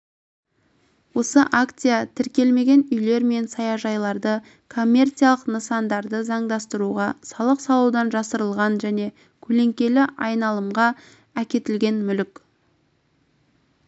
осыакция тіркелмеген үйлер мен саяжайларды коммерциялық нысандарды заңдастыруға салық салудан жасырылған және көлеңкелі айналымға әкетілген мүлік